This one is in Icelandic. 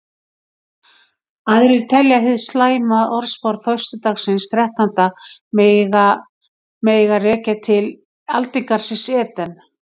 Aðrir telja hið slæma orðspor föstudagsins þrettánda mega rekja til aldingarðsins Eden.